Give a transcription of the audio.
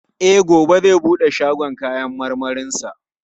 E, gobe zai bude shagon kayan marmarinsa.